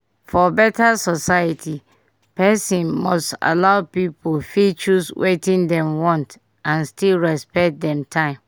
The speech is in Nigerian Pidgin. for beta society person must allow pipu fit choose wetin dem want and still respect dem time